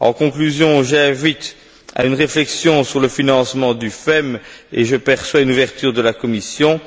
En conclusion, j'invite à une réflexion sur le financement de FEM et je perçois une ouverture de la Commission,